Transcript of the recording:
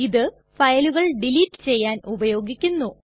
ഇത് ഫയലുകൾ ഡിലീറ്റ് ചെയ്യാൻ ഉപയോഗിക്കുന്നു